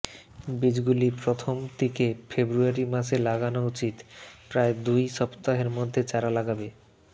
বীজগুলি প্রথম দিকে ফেব্রুয়ারি মাসে লাগানো উচিত প্রায় দুই সপ্তাহের মধ্যে চারা লাগবে